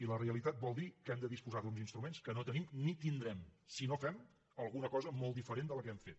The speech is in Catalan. i la realitat vol dir que hem de disposar d’uns instruments que no tenim ni tindrem si no fem alguna cosa molt diferent de la que hem fet